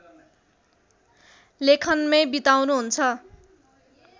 लेखनमै बिताउनुहुन्छ